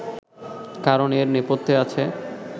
কারণ এর নেপথ্যে আছে